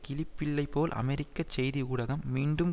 கிளிப்பிள்ளை போல் அமெரிக்க செய்தி ஊடகம் மீண்டும்